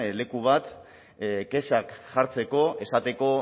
leku bat kexak sartzeko esateko